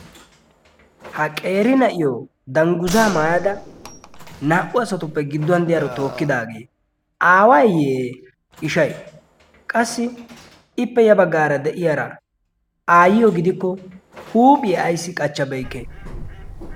ha qeeri na'iyo dangguza maayada naa''u asatuppe gidduwan deyaaro tookkidaagee aawayiyye ishay qassi ippe ya baggaara de'iyaara aayyiyo gidikko huuphiyae ayssi qachchabeykke